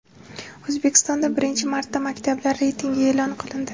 O‘zbekistonda birinchi marta maktablar reytingi e’lon qilindi.